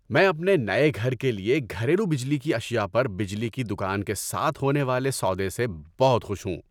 ‏میں اپنے نئے گھر کے لیے گھریلو بجلی کی اشیا پر بجلی کی دکان کے ساتھ ہونے والے سودے سے بہت خوش ہوں۔